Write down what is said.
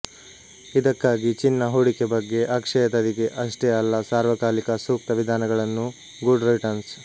ಇದಕ್ಕಾಗಿ ಚಿನ್ನ ಹೂಡಿಕೆ ಬಗ್ಗೆ ಅಕ್ಷಯ ತದಿಗೆ ಅಷ್ಟೇ ಅಲ್ಲ ಸರ್ವಕಾಲಿಕ ಸೂಕ್ತ ವಿಧಾನಗಳನ್ನು ಗುಡ್ ರಿಟರ್ನ್ಸ್